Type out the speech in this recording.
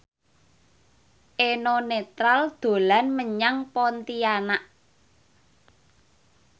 Eno Netral dolan menyang Pontianak